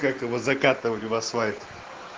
как его закатывали в асфальт